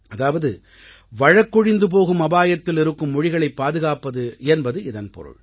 அதாவது வழக்கொழிந்து போகும் அபாயத்தில் இருக்கும் மொழிகளைப் பாதுகாப்பது என்பது இதன் பொருள்